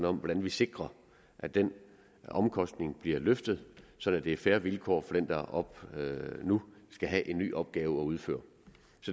om hvordan vi sikrer at den omkostning bliver løftet sådan at det er fair vilkår for den der nu skal have en ny opgave at udføre